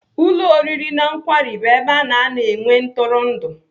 Ụlọ oriri na nkwari bụ ebe ana anọ enwe ntụrụndụ.